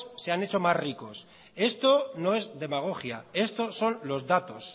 se han hecho más ricos esto no es demagogia esto son los datos